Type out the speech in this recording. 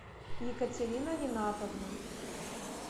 екатерина ринатовна